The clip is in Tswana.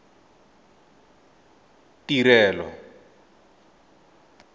tirelo